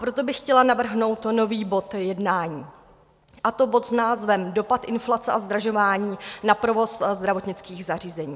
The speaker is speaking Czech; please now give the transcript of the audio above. Proto bych chtěla navrhnout nový bod jednání, a to bod s názvem Dopad inflace a zdražování na provoz zdravotnických zařízení.